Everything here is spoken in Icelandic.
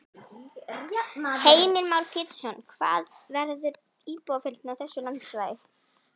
Heimir Már Pétursson: Hvað verður íbúafjöldinn á þessu landsvæði?